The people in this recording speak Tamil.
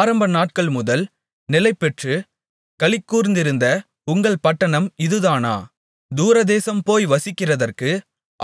ஆரம்பநாட்கள்முதல் நிலைபெற்று களிகூர்ந்திருந்த உங்கள் பட்டணம் இதுதானா தூரதேசம்போய் வசிக்கிறதற்கு